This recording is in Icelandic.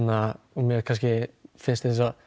mér finnst